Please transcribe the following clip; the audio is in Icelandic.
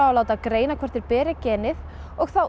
látið greina hvort þeir beri genið og þá